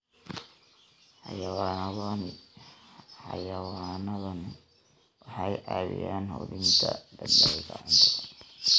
Xayawaanadani waxay caawiyaan hubinta badbaadada cuntada.